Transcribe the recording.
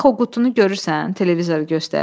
Bax o qutunu görürsən, televizoru göstərir.